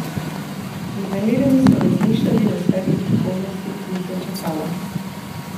Vznemirjeni so razmišljali o svetli prihodnosti, ki jih je čakala.